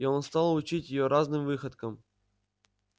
и он стал учить её разным выходкам